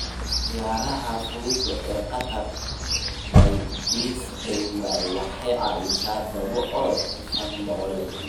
Ciyaaraha Fudud ee Qatar: Busby waxaa caawiyay Dabo orodka 5,000m